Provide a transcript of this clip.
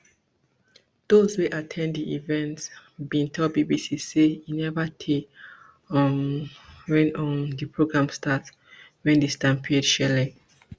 those wey at ten d di event bin tell bbc say e neva tey um wen um di program start wen di stampede shele